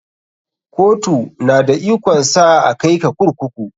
Kotu na da ikon sa a kai ka kurkuku.